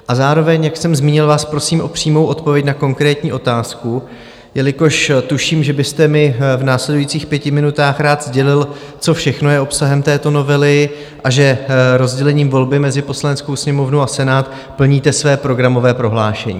A zároveň, jak jsem zmínil, vás prosím o přímou odpověď na konkrétní otázku, jelikož tuším, že byste mi v následujících pěti minutách rád sdělil, co všechno je obsahem této novely a že rozdělením volby mezi Poslaneckou sněmovnu a Senát plníte své programové prohlášení.